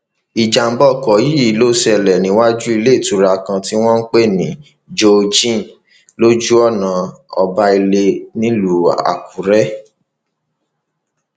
ìjàḿbà ọkọ yìí ló ṣẹlẹ níwájú iléìtura kan tí wọn ń pè ní joe jane lójú ọnà ọbailẹ nílùú àkúrẹ